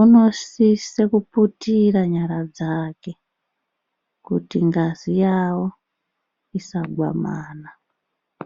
Unosise kuputira nyara dzake kuti ngazi yavo isagwamana.